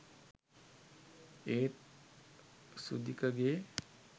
ඒත් සුදිකගේ